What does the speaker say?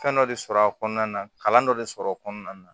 Fɛn dɔ de sɔrɔ a kɔnɔna na kalan dɔ de sɔrɔ a kɔnɔna na